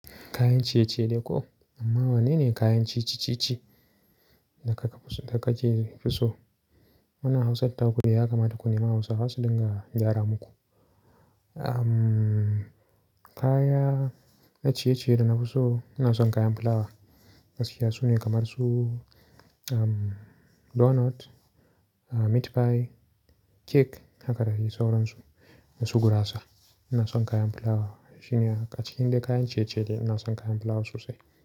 Kayan ciye-ciye dei ko? Amma wane ne kayan ci ci ci ci da ka ke fi so? Muna Hausar Takudi ya kamata ku nema Hausawa su dinga gyara muku. Kaya na ciye-ciye da na fi so, ina son kayan fulawa. Masu yatsu ne kamar su donut, meat pie, cake haka da dei sauransu. Da su gurasa. Ina son kayan fulawa. A cikin dai kayan ciye-ciye dei ina son kayan fulawa sosai.